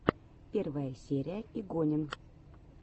первая серия игонин